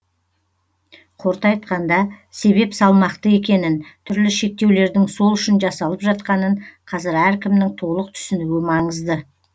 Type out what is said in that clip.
қорыта айтқанда себеп салмақты екенін түрлі шектеулердің сол үшін жасалып жатқанын қазір әркімнің толық түсінуі маңызды